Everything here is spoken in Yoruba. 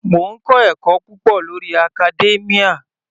Mò ń kọ́ ẹ̀kọ́ púpọ̀ lórí academia.